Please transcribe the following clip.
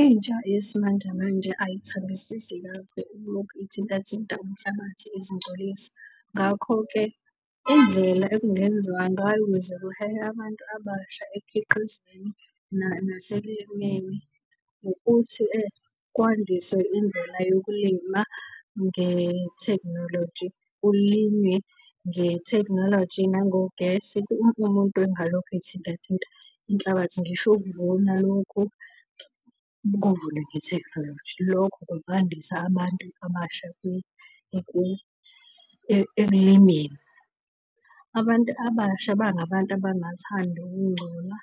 Intsha yesimanjemanje ayithandisisi kahle ukulokhu ithinta thinta umhlabathi izingcolisa. Ngakho-ke indlela ekungenziwa ngayo ukuze kuhehwe abantu abasha ekukhiqizweni , ukuthi kwandiswe indlela yokulima nge-technology. Kulinywe nge-tecnhology nangogesi, umuntu engalokhu ethinta thinta inhlabathi, ngisho ukuvuna lokhu, kuvunwe nge-technology. Lokho kungandisa abantu abasha ekulimeni. Abantu abasha bangabantu abangathandi ukungcola